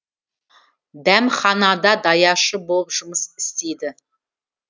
дәмханада даяшы болып жұмыс істейді